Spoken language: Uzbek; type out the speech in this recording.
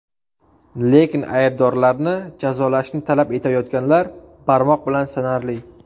Lekin aybdorlarni jazolashni talab etayotganlar barmoq bilan sanarli.